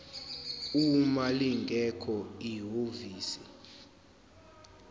uma lingekho ihhovisi